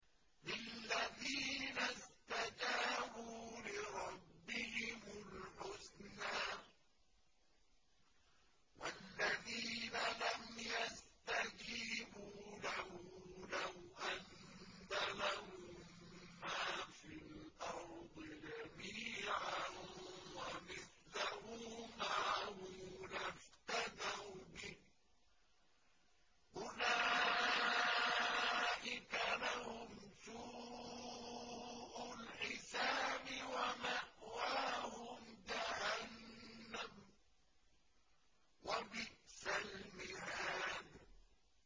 لِلَّذِينَ اسْتَجَابُوا لِرَبِّهِمُ الْحُسْنَىٰ ۚ وَالَّذِينَ لَمْ يَسْتَجِيبُوا لَهُ لَوْ أَنَّ لَهُم مَّا فِي الْأَرْضِ جَمِيعًا وَمِثْلَهُ مَعَهُ لَافْتَدَوْا بِهِ ۚ أُولَٰئِكَ لَهُمْ سُوءُ الْحِسَابِ وَمَأْوَاهُمْ جَهَنَّمُ ۖ وَبِئْسَ الْمِهَادُ